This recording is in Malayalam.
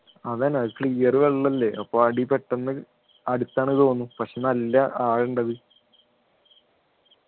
അതെന്നെ അത് clear വെള്ളല്ലേ അപ്പൊ അടി പെട്ടെന്ന് അടുത്താണ് തോന്നും പക്ഷേ നല്ല ആഴം ഉണ്ട് അത്